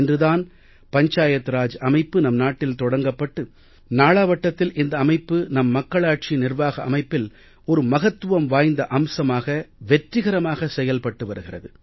இன்று தான் பஞ்சாயத் ராஜ் அமைப்பு நம் நாட்டில் தொடங்கப்பட்டு நாளாவட்டத்தில் இந்த அமைப்பு நம் மக்களாட்சி நிர்வாக அமைப்பில் ஒரு மகத்துவம் வாய்ந்த அம்சமாக வெற்றிகரமாகச் செயல்பட்டு வருகிறது